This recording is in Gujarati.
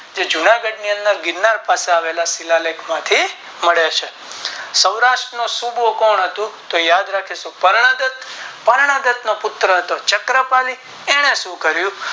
કે જૂનાગઢ ની અંદર ગિરનાર પાસે આવેલા શિલાલેખ માંથી મળે છે સૌરાટ્ર નો સૂબો કોણ હતો તો યાદ રાખીશું કરણાગત કરણાગત નો પુત્ર હતો ચાકર પાલી એને શું કરિયું